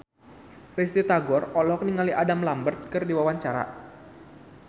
Risty Tagor olohok ningali Adam Lambert keur diwawancara